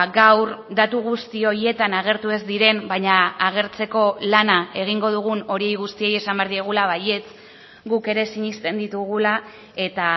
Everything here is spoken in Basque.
gaur datu guzti horietan agertu ez diren baina agertzeko lana egingo dugun hori guztiei esan behar diegula baietz guk ere sinesten ditugula eta